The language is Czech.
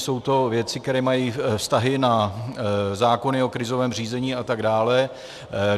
Jsou to věci, které mají vztahy na zákony o krizovém řízení atd.